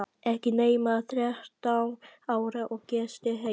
Ekki nema þrettán ára og gestir heima!